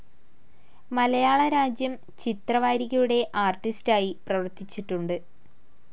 മലയാളരാജ്യം ചിത്രവാരികയുടെ ആർട്ടിസ്‌റ്റായി പ്രവർത്തിച്ചിട്ടുണ്ട്.